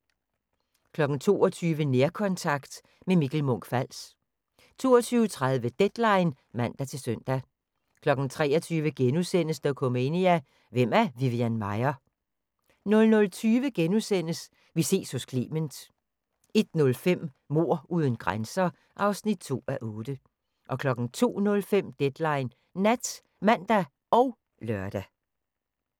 22:00: Nærkontakt – med Mikkel Munch-Fals 22:30: Deadline (man-søn) 23:00: Dokumania: Hvem er Vivian Maier? * 00:20: Vi ses hos Clement * 01:05: Mord uden grænser (2:8) 02:05: Deadline Nat (man og lør)